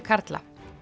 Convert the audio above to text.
karla